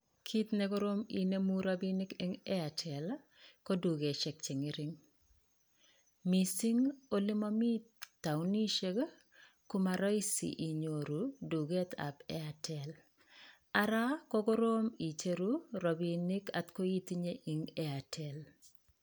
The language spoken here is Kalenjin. Kit ne korom ininemu rabinik en Airtel ii ko dukoshek che ng'ering. Mising ole momi taonishek komaroisi inyoru duget ab Airtel. Ara ko korom icheru rabinik angot ko itinye en Airtel.